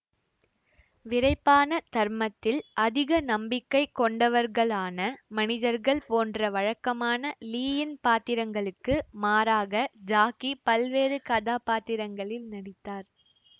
விறைப்பான தர்மத்தில் அதிக நம்பிக்கை கொண்டவர்களான மனிதர்கள் போன்ற வழக்கமான லீயின் பாத்திரங்களுக்கு மாறாக ஜாக்கி பல்வேறு கதாப்பாத்திரங்களில் நடித்தார்